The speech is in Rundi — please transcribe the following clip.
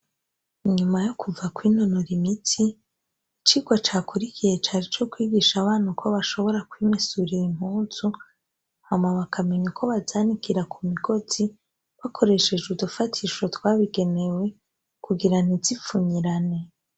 Inyuma yo kuva kw'intonora imiti icirwo cakuri ikihe caje co kwigisha abana uko bashobora kwimesurira impuzu hama be akamenya uko bazanikira ku migozi bakoresheje udufatisho twabigenewe kugira ntizipfunyirane.